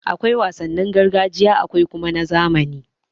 Akwai wasannin gargajiya akwai kuma ta zamani.